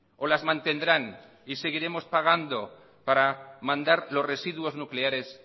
o las mantendrán y seguiremos pagando para mandar los residuos nucleares